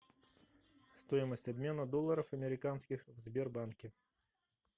стоимость обмена долларов американских в сбербанке